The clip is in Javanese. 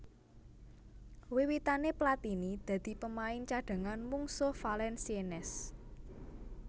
Wiwitané Platini dadi pemain cadhangan mungsuh Valenciennes